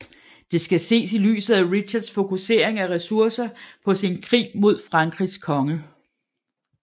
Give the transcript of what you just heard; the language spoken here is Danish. Det skal ses i lyset af Richards fokusering af ressourcer på sin krig mod Frankrigs konge